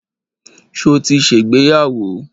Ṣo ti ṣègbéyàwó?